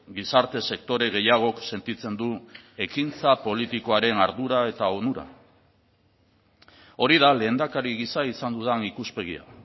gizarte sektore gehiagok sentitzen du ekintza politikoaren ardura eta onura hori da lehendakari gisa izan dudan ikuspegia